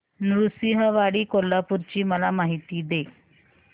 नृसिंहवाडी कोल्हापूर ची मला माहिती दे